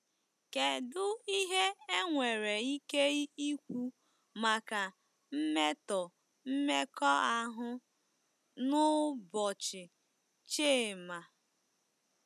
Kedu ihe enwere ike ikwu maka mmetọ mmekọahụ n'ụbọchị Chima?